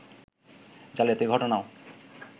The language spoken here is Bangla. জালিয়াতির ঘটনাও